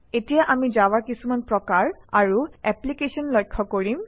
এতিয়া আমি জাভাৰ কিছুমান প্ৰকাৰ আৰু এপ্লিকেশ্যন লক্ষ্য কৰিম